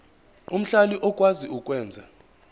omhlali okwazi ukwenza